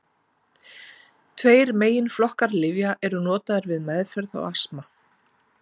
Tveir meginflokkar lyfja eru notaðir við meðferð á astma.